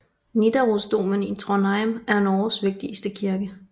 Nidarosdomen i Trondheim er Norges vigtigste kirke